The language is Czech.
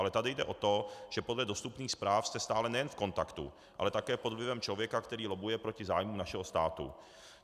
Ale tady jde o to, že podle dostupných zpráv jste stále nejen v kontaktu, ale také pod vlivem člověka, který lobbuje proti zájmu našeho státu.